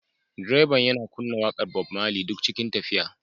Direban yana kunna waƙar Bob Marley duk cikin tafiya